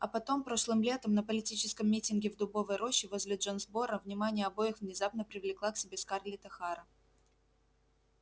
а потом прошлым летом на политическом митинге в дубовой роще возле джонсборо внимание обоих внезапно привлекла к себе скарлетт охара